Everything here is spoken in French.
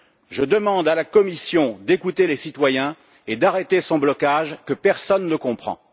Je demande à la Commission d'écouter les citoyens et d'arrêter son blocage, que personne ne comprend.